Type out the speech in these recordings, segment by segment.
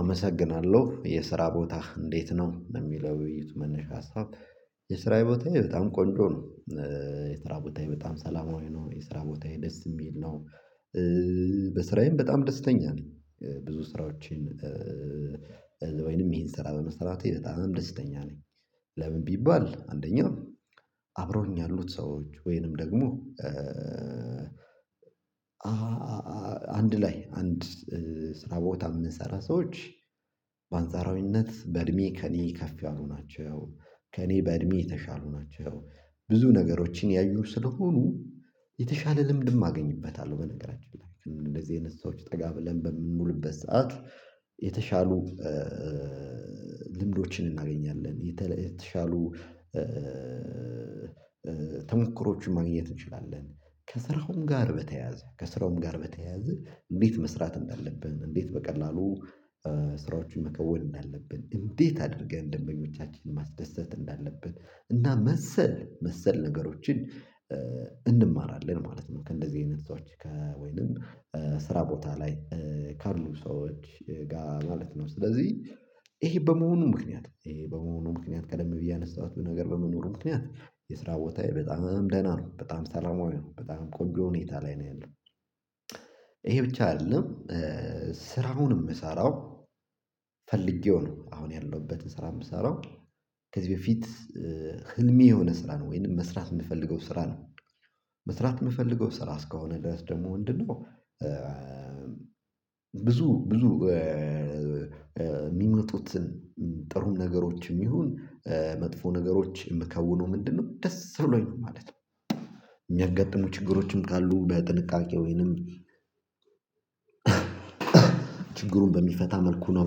አመሰግናለሁ የስራ ቦታህ እንዴት ነው በሚለው ውይይት መነሻ ሀሳብ? የስራ ቦታዬ በጣም ቆንጆ ነው። የስራ ቦታዬ በጣም ሰላማዊ ነው የስራ ቦታዬ ደስ የሚል ነው። በስራዬም በጣም ደስተኛ ነኝ። ብዙ ስራዎችን ወይንም ይሄን ስራ በመስራቴ በጣም ደስተኛ ነኝ። ለምን ቢባል አንደኛው አብሮኝ ያሉት ሰዎች ወይንም ደግሞ አንድ ላይ አንድ ስራ ቦታ የምንሰራ ሰዎች በአንጻራዊነት በእድሜ ከእኔ ከፍ ያሉ ናቸው ከእኔ በእድሜ የተሻሉ ናቸው ብዙ ነገሮችን ያዩ ስለሆኑ የተሻለ ልምድም አገኝበታለሁ። በነገራችን ላይ እንደዚህ የነሳዎች ጠጋብለን በምንውልበት ሰዓት የተሻሉ ልምዶችን እናገኛለን የተሻሉ ተሞክሮዎችን ማግኘት እንችላለን። ከስራውም ጋር በተያያዘ ከስራውም ጋር በተያያዘ እንዴት መስራት እንዳለብህ እንዴት በቀላሉ ስራዎችን መከወን እንዳለብን እንዴት አድርገን ደንበኞቻችንን ማስደሰት እንዳለብን እና መሰል መሰል ነገሮችን እንማራለን ማለት ነው። ከእንደዚህ አይነት ሰዎች ከወይንም ስራ ቦታ ላይ ካርሉ ሰዎች ጋር ማለት ነው። ስለዚህ ይሄ በመሆኑ ምክንያት ይሄ በመሆኑ ምክንያት ቀደም ብዬ አነሳኋት በነገር በመኖሩ ምክንያት የስራ ቦታዬ በጣም ደህና ነው በጣም ሰላማዊ ነው በጣም ቆንጆ ሁኔታ ላይ ነው ያለው። ይሄ ብቻ አይደለም። ስራውን የምሰራው ፈልጌው ነው። አሁን ያለሁበት ስራ የምሰራው ከዚህ በፊት ህልሜ የሆነ ስራ ነው ወይንም መስራት የምፈልገው ስራ ነው። መስራት የምፈልገው ስራ እስከሆነ ድረስ ደግሞ እንድንሆን ብዙ ብዙ የሚመጡትን ጥሩም ነገሮችም ይሁን መጥፎ ነገሮች የምከውነው ምንድነው? ደስ ብሎኝ ማለት ነው። የሚያጋጥሙ ችግሮችም ካሉ በጥንቃቄ ወይንም ችግሩን በሚፈታ መልኩ ነው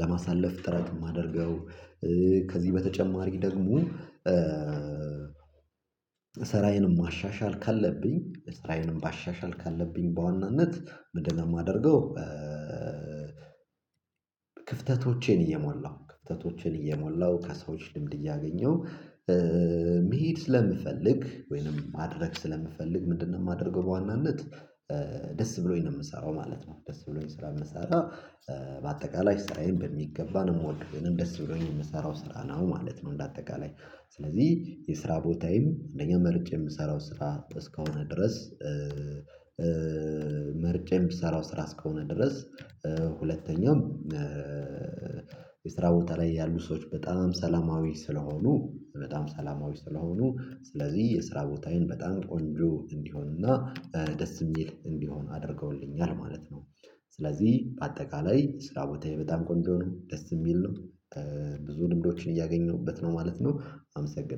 ለማሳለፍ ጥረት የማደርገው። ከዚህ በተጨማሪ ደግሞ ስራዬንም ማሻሻል ካለብኝ ስታይልም ማሻሻል ካለብኝ በዋናነት ምንድን ነው የማደርገው? ክፍተቶቼን እየሞላሁ ክፍተቶቼን እየሞላሁ ከሰዎች ልምድ እያገኘው መሄድ ስለምፈልግ ወይንም ማድረግ ስለምፈልግ ምንድነው የማደርገው? በዋናነት ደስ ብሎኝ ነው የምሰራው ማለት ነው። ደስ ብሎኝ ስለምሰራ በአጠቃላይ ስራዬን በሚገባ ነው የምወድው ደስ ብሎኝ የምሰራው ስራ ነው ማለት ነው። እንደ አጠቃላይ ስለዚህ የስራ ቦታዬም አንደኛ መርጬ የምሰራው ስራ እስከሆነ ድረስ መርጬ የምሰራው ስራ እስከሆነ ድረስ ሁለተኛው የስራ ቦታ ላይ ያሉ ሰዎች በጣም ሰላማዊ ስለሆኑ በጣም ሰላማዊ ስለሆኑ ስለዚህ የስራ ቦታዬን በጣም ቆንጆ እንዲሆንና ደስ የሚል እንዲሆን አድርገውልኛል ማለት ነው። ስለዚህ በአጠቃላይ ስራ ቦታዬ በጣም ቆንጆ ነው ደስ የሚል ነው። ብዙ ልምዶችን እያገኘሁበት ነው ማለት ነው። አመሰግናለሁ